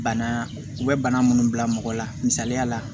Bana u bɛ bana minnu bila mɔgɔ la misaliya la